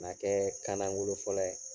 kɛ kan langolo fɔla ye.